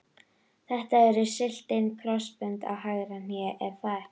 Þetta eru slitin krossbönd á hægra hné er það ekki?